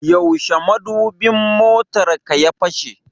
Yaushe madubin motarka ya fashe?